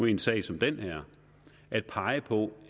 i en sag som den her at pege på